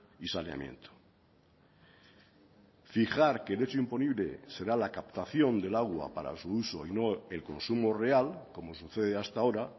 y saneamiento fijar que el hecho imponible será la captación del agua para su uso y no el consumo real como sucede hasta ahora